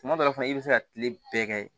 Tuma dɔ la fana i bɛ se ka tile bɛɛ kɛ